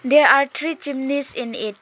there are three chimneys in it.